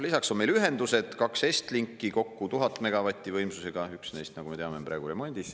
Lisaks on meil ühendused: kaks Estlinki, kokku 1000 megavatise võimsusega, üks neist, nagu me teame, on praegu remondis.